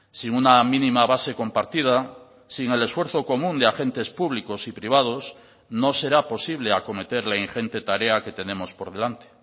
sin una mínima base compartida sin el esfuerzo común de agentes públicos y privados no será posible acometer la ingente tarea que tenemos por delante